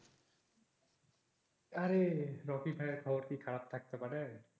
আরে রকি ভাইয়ের খবর কি খারাপ থাকতে পারে?